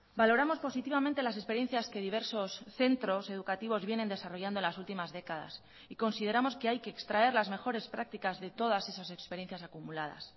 valoramos positivamente las experiencias que diversos centros educativos vienen desarrollando las últimas décadas y consideramos que hay que extraer las mejores prácticas de todas esas experiencias acumuladas